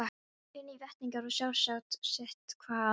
Einnig veitingar og sjálfsagt sitthvað fleira.